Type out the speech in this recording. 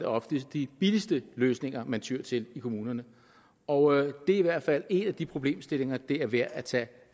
oftest de billigste løsninger man tyer til i kommunerne og det er i hvert fald en af de problemstillinger det er værd at tage